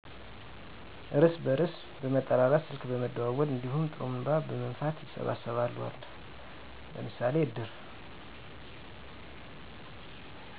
እርስ በርስ በመጠራራት ስልክ በመደወል እንዲሁም ጥሩንባ በመንፋት ይሰበሰባሉ። አለ ለምሳሌ እድር